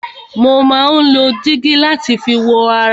Mo má ń lo dígí láti fi wo ara mi.